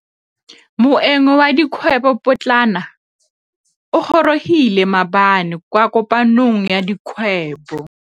Moêng wa dikgwêbô pôtlana o gorogile maabane kwa kopanong ya dikgwêbô.